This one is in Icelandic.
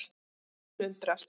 Og hún undrast.